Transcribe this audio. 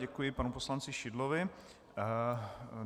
Děkuji panu poslanci Šidlovi.